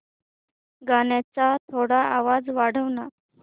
गाण्याचा थोडा आवाज वाढव ना